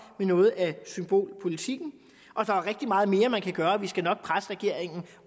noget af symbolpolitikken der er rigtig meget mere man kan gøre og vi skal nok presse regeringen